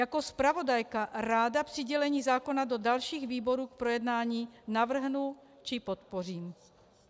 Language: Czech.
Jako zpravodajka ráda přidělení zákona do dalších výborů k projednání navrhnu či podpořím.